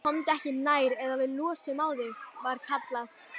Komdu ekki nær eða við lossum á þig, var kallað.